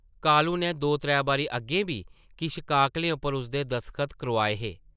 कालू नै दो-त्रै बारी अग्गें बी किश काकलें पर उसदे दसखत करोआए हे ।